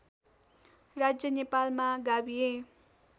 राज्य नेपालमा गाभिए